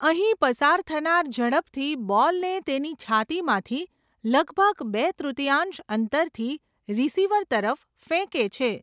અહીં, પસાર થનાર ઝડપથી બોલને તેની છાતીમાંથી લગભગ બે તૃતીયાંશ અંતરથી રીસીવર તરફ ફેંકે છે.